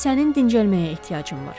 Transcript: İndi sənin dincəlməyə ehtiyacın var.